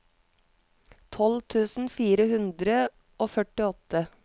tolv tusen fire hundre og førtiåtte